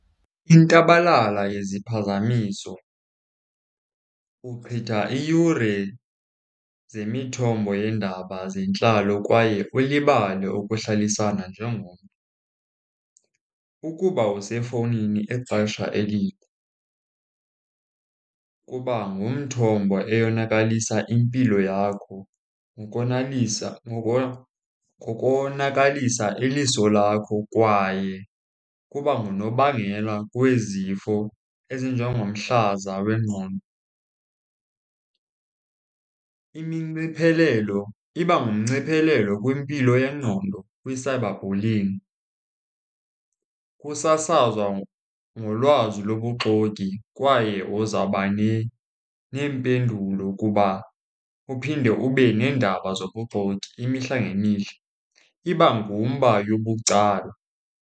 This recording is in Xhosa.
Intabalala yeziphazamiso, uchitha iiyure zemithombo yeendaba zentlalo kwaye ulibale ukuhlalisana njengomntu. Ukuba usefowunini ixesha elide kuba ngumthombo eyonakalisa impilo yakho ngokonakalisa iliso lakho kwaye kuba ngunobangela wezifo ezinjengomhlaza wengqondo. Iminciphelelo, iba ngumnciphelelo kwimpilo yengqondo kwi-cyberbullying. Kusasazwa ngolwazi lobuxoki kwaye uzawuba neempendulo kuba uphinde ube neendaba zobuxoki imihla ngemihla, iba ngumba yobucala.